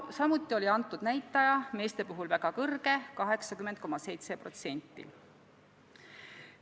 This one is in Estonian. Samuti oli see näitaja väga kõrge meeste puhul: 80,7%.